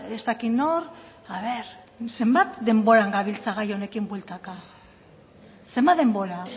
ez dakit nor a ver zenbat denboran gabiltza gai honekin bueltaka zenbat denbora